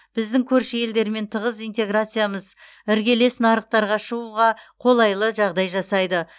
біздің көрші елдермен тығыз интеграциямыз іргелес нарықтарға шығуға қолайлы жағдай жасайды